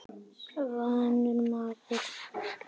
Vanur maður.